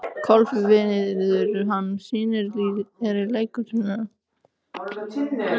Kolviður, hvaða sýningar eru í leikhúsinu á laugardaginn?